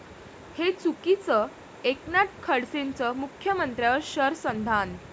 हे चुकीचं, एकनाथ खडसेंचं मुख्यमंत्र्यांवर शरसंधान